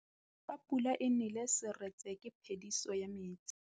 Fa pula e nelê serêtsê ke phêdisô ya metsi.